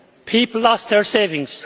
people lost their savings